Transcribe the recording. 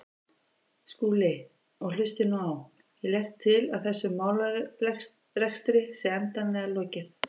Skúli, og hlustið nú á: Ég legg til að þessum málarekstri sé endanlega lokið.